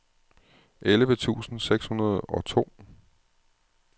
elleve tusind seks hundrede og to